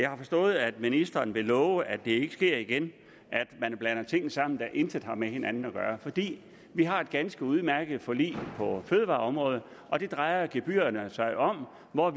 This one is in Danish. har forstået at ministeren vil love at det ikke vil ske igen at man blander ting sammen der intet har med hinanden at gøre vi har et ganske udmærket forlig på fødevareområdet og det drejer gebyrerne sig om og